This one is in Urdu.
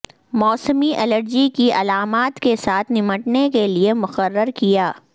موسمی الرجی کی علامات کے ساتھ نمٹنے کے لئے مقرر کیا